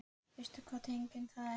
Veistu hvaða tegund það er?